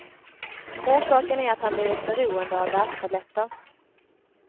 Orsaken är att han blivit beroende av värktabletter.